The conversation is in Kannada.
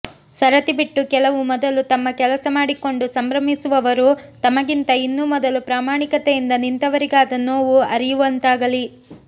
ಸರತಿ ಬಿಟ್ಟು ಕೆಲವು ಮೊದಲು ತಮ್ಮ ಕೆಲಸ ಮಾಡಿಕೊಂಡು ಸಂಭ್ರಮಿಸುವವರು ತಮಗಿಂತ ಇನ್ನೂ ಮೊದಲು ಪ್ರಾಮಾಣಿಕತೆಯಿಂದ ನಿಂತವರಿಗಾದ ನೋವು ಅರಿಯುವಂತಾಗಲಿ